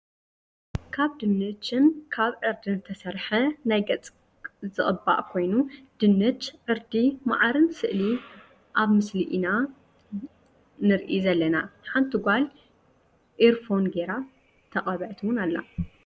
ካብ ድንችን ካብ ዕርድን ዝተሰርሐ ናይ ገፅ ዝቅባእ ኮይኑ ድንች፣ ዕርዲ፣ መዓርን፣ ስእሊ ኣብ ምስሊ ኢና ንርሲ ዘለና ሓንቲ ጋል ኢር ፎን ጌራ ተቀበአት እውን ኣላ።